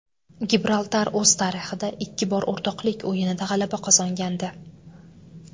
Gibraltar o‘z tarixida ikki bor o‘rtoqlik o‘yinida g‘alaba qozongandi.